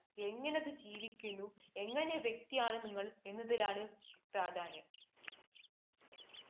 എങ്ങിനെ അത് ജീവിക്കുന്നു, എങ്ങിനെ വ്യക്തിയാണ് നിങ്ങള്‍ എന്നതിലാണ് പ്രാധാന്യം.